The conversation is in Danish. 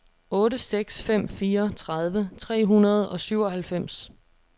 otte seks fem fire tredive tre hundrede og syvoghalvfems